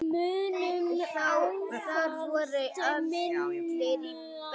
Þar voru allir í beltum.